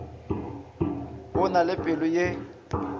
o na le pelo ye